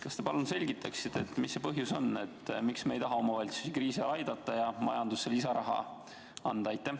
Kas te palun selgitaksite, mis see põhjus on, miks me ei taha omavalitsusi kriisi ajal aidata ja majandusse lisaraha anda?